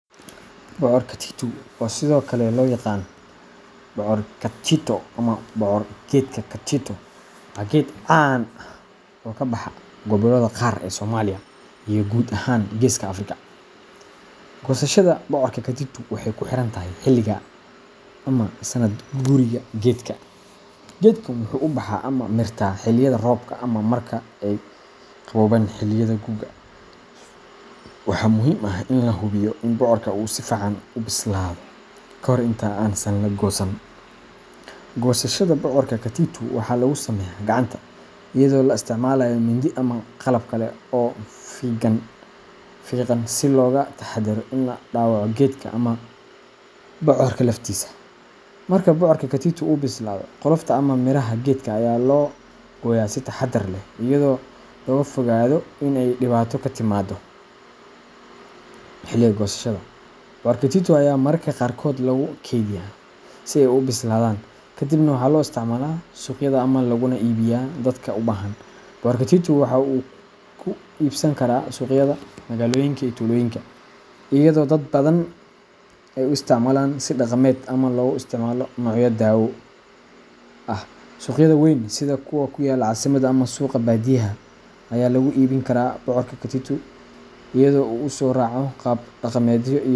Bocor katitu, oo sidoo kale loo yaqaan bocor katchito ama bocor geedka katchito, waa geed caan ah oo ka baxa gobollada qaar ee Soomaaliya iyo guud ahaan geeska Afrika. Goosashada bocorka katitu waxay ku xiran tahay xilliga ama sanad guuriga geedka. Geedkan wuxuu ubaxaa ama mirtaa xilliyada roobka ama marka ay qaboobaan xilliyada guga, waxaana muhiim ah in la hubiyo in bocorku uu si fiican u bislaado ka hor inta aan la goosan. Goosashada bocorka katitu waxaa lagu sameeyaa gacanta, iyadoo la isticmaalayo mindi ama qalab kale oo fiiqan si looga taxadaro in la dhaawaco geedka ama bocorka laftiisa. Marka bocorka katitu uu bislaado, qolofta ama miraha geedka ayaa loo gooyaa si taxaddar leh iyadoo looga fogaado in ay dhibaato ka timaado xilliga goosashada. Bocorka katitu ayaa mararka qaarkood lagu kaydiyaa si ay u bislaadaan, ka dibna waxaa loo isticmaalaa suuqyada ama looguna iibiyo dadka u baahan. Bocorka katitu wuxuu ku iibsan karaa suuqyada magaalooyinka iyo tuulooyinka, iyadoo dad badan ay u isticmaalaan si dhaqameed ama loogu isticmaalo noocyo dawo ah. Suuqyada weyn, sida kuwa ku yaala caasimadda ama suuqa baadiyaha, ayaa lagu iibin karaa bocorka katitu iyadoo uu soo raaco qaab dhaqameedyo .